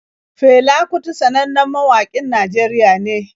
Fela kuti sannannen mawaƙin Najeriya ne.